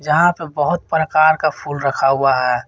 यहां पे बहुत प्रकार का फूल रखा हुआ है।